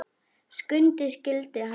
Skundi skyldi hann heita.